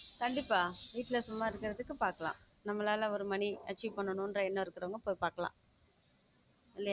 கண்டிப்பா வீட்ல சும்மா இருக்கிறதுக்கு பாக்கலாம் நம்மால் ஒரு money achieve பண்ணணும் ஒரு எண்ணம் இருக்குறவங்க போய் பார்க்கலாம்